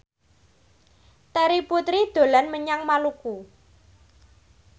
Terry Putri dolan menyang Maluku